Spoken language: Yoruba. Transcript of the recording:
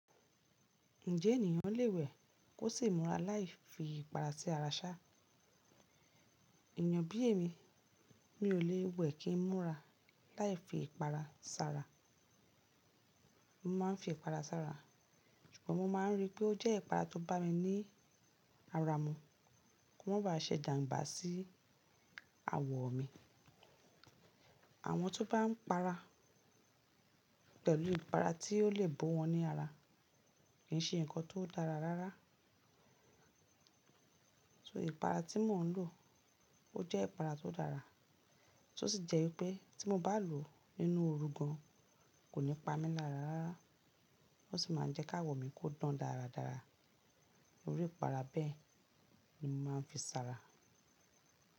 Ǹjẹ́ ènìyàn lè wẹ̀ kó sì múra láì fi ìpara sí ara ṣá? Èyàn bí èmi, mi ò lè wẹ̀ kí ń múra láì fi ìpara sára. Mo máa ń fi ìpara sára, ṣùgbọ́n mo máa ń rí pé ó jẹ́ ìpara tó bá mi ní ara mu, kó má ba à ṣẹ̀ ìjanbà sí àwọ̀ mi. Àwọn tó bá ń para pẹ̀lú ìpara ti o le bo wọ́n ní ara kì í ṣe nǹkan tó dára rárá. So ìpara tí mò ń lò ó jẹ́ ìpara tó dára, tó sì jẹ́ wípé tí mo bá lò ó ínú ooru gan, kò ní pa mí lára rárá. Ó sì máa ń jẹ́ ká àwọ̀ mi kó dán dáradára. Orí ìpara bẹ́ẹ̀ ni mo máa ń fi sara.